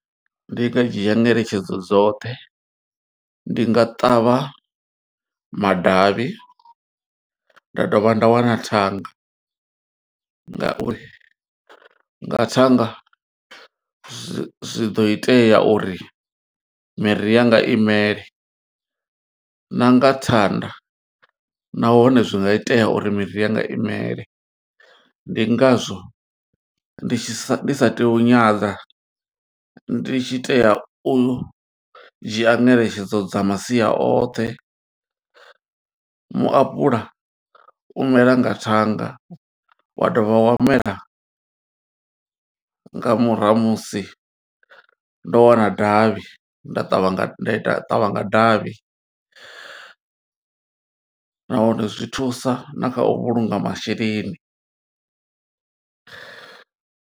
Ndi nga dzhia ngeletshedzo dzoṱhe, ndi nga ṱavha madavhi, nda dovha nda wana thanga. Nga uri nga thanga, zwi zwi ḓo itea uri miri ya nga imele, na nga thanda nahone zwi nga itea uri miri yanga imele. Ndi nga zwo ndi tshi sa, ndi sa tei u nyadza, ndi tshi tea u dzhia ngeletshedzo dza masia oṱhe. Muapuḽa u mela nga thanga, wa dovha wa mela nga murahu ha musi ndo wana davhi. Nda ṱavha, nda ita, nda ṱavha nga davhi, nahone zwi thusa na kha u vhulunga masheleni.